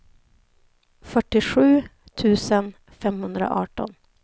fyrtiosju tusen femhundraarton